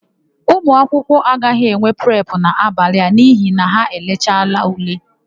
Ụmụakwụkwọ agaghị enwe prepụ n'abalị a n'ihi na ha elechaala ule.